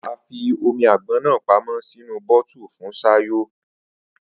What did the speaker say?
Afi omi àgbọn náà pamó sínú bọ́ọ́tù fún Sayò